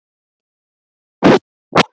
Leyfðu okkur nú að heyra ritgerðina þína!